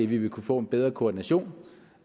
vi vil kunne få en bedre koordination